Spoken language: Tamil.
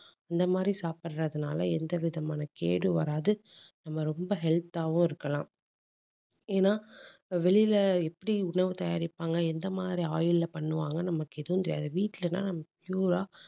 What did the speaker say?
இந்த மாதிரி சாப்பிடுறதுனால எந்த விதமான கேடு வராது. நம்ம ரொம்ப health ஆவும் இருக்கலாம். ஏன்னா வெளியில எப்படி உணவு தயாரிப்பாங்க எந்த மாதிரி oil ல பண்ணுவாங்க நமக்கு எதுவும் தெரியாது வீட்டுலதான் நம்ம pure ஆ